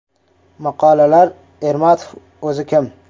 Maqolalar “Ermatov o‘zi kim?